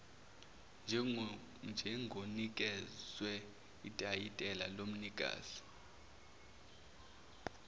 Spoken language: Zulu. njengonikezwe itayitela lomnikazi